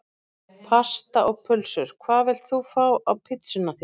Pasta og pulsur Hvað vilt þú fá á pizzuna þína?